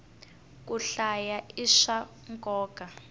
ku hlaya i swa nkoka